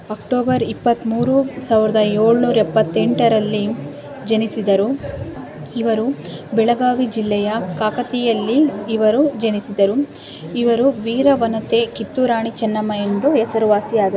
October ಇಪ್ಪತ್ತು ಮೂರು ಸಾವಿರದ ಏಳು ನೂರ ಎಪ್ಪತ ಎಂಟು ರಲ್ಲಿ ಜನಿಸಿದರು ಇವರು ಬೆಳಗಾವಿ ಜಿಲ್ಲೆಯ ಕಾಕತಿಯಲ್ಲಿ ಇವರು ಜನಿಸಿದರು ಇವರು ವೀರ ವನಿತೆ ಕಿತ್ತೂರು ರಾಣಿ ಚೆನ್ನಮ್ಮ ಎಂದು ಹೆಸರುವಾಸಿಯಾದರು.